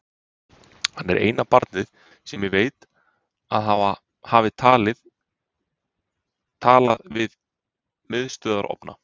Hann er eina barnið sem ég veit að hafi talað við miðstöðvarofna.